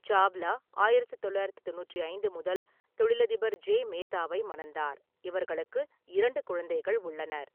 சாவ்லா ஆயிரத்து தொள்ளாயிரத்து தொண்ணூற்றி ஐந்து முதல் தொழிலதிபர் ஜே மேத்தாவை மணந்தார், இவர்களுக்கு இரண்டு குழந்தைகள் உள்ளனர்.